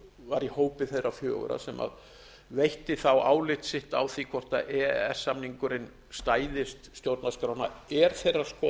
var í hópi þeirra fjögurra sem veitti þá álit sitt á því hvort e e s samningurinn stæðist stjórnarskrána er þeirrar skoðunar